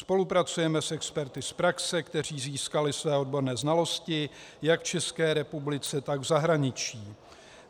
Spolupracujeme s experty z praxe, kteří získali své odborné znalosti jak v České republice, tak v zahraničí.